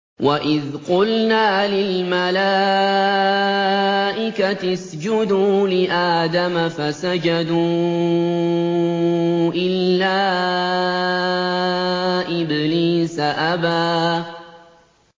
وَإِذْ قُلْنَا لِلْمَلَائِكَةِ اسْجُدُوا لِآدَمَ فَسَجَدُوا إِلَّا إِبْلِيسَ أَبَىٰ